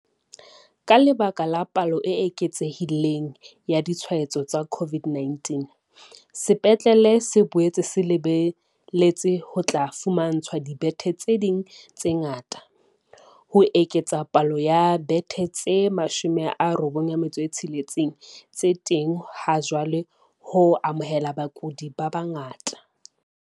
Ka lebaka la palo e eketsehi leng ya ditshwaetso tsa CO VID-19, sepetlele se boetse se le beletse ho tla fumantshwa dibethe tse ding tse ngata, ho eketsa palo ya dibethe tse 96 tse teng ha jwale ho amohela bakudi ba bangata.